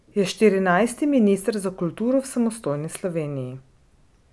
Je štirinajsti minister za kulturo v samostojni Sloveniji.